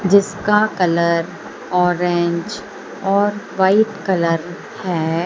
जिसका colour orange और white colour है।